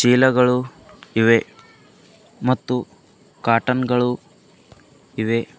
ಚೀಲಗಳು ಇವೆ ಮತ್ತು ಕಾಟನ್ ಗಳು ಇವೆ.